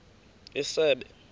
isebe